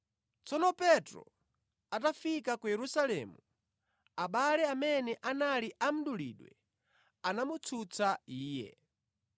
Tsono Petro atafika ku Yerusalemu, abale amene anali a mdulidwe anamutsutsa iye,